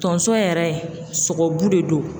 Tonso yɛrɛ sogobu de don